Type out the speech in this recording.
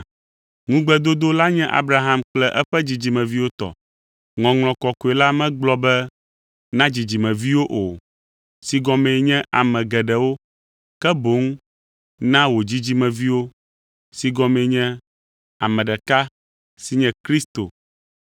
Ŋugbedodo la nye Abraham kple eƒe dzidzimeviwo tɔ. Ŋɔŋlɔ Kɔkɔe la megblɔ be “na dzidzimeviwo o” si gɔmee nye ame geɖewo, ke boŋ “na wò dzidzimeviwo” si gɔmee nye ame ɖeka si nye Kristo.